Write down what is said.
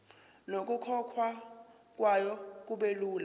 nokukhokhwa kwayo kubelula